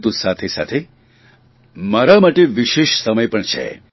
પરંતુ સાથેસાથે મારા માટે વિશેષ સમય પણ છે